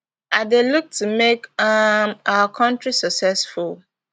i dey look to make um our country successful